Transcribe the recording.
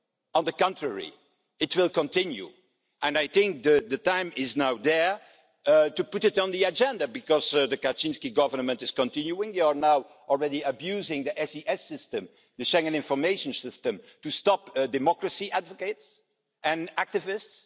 On the contrary, it will continue. I think that the time is here to put it on the agenda, because the Kaczyński government is continuing, they are now already abusing the SES system, the Schengen Information System, to stop democracy advocates and activists.